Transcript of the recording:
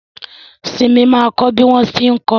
Simi ma kọ́ bí wọ́n tí ń kọrin